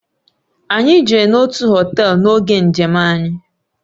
Anyị jere n'otu họtel n'oge njem anyị.